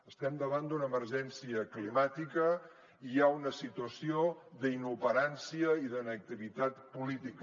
estem davant d’una emergència climàtica i hi ha una situació d’inoperància i d’inactivitat política